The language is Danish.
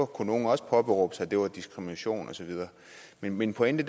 kunne nogle også påberåbe sig var diskrimination og så videre men min pointe